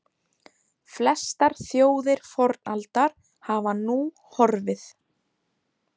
Flestar þjóðir fornaldar hafa nú horfið.